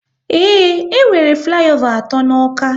Ee, e nwere flayova atọ n'Awka